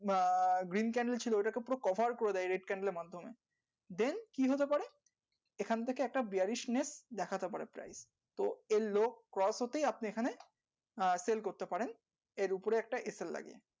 আহ ছিল ওটাকে পুরো করে দেয় এর মাধ্যমে কি হতে পারে এখন থেকে একটা নিয়ে দেখতে পারে তো এই হতেই আপনি এখানে আহ করতে পারেন এর উপরে একটা লাগিয়ে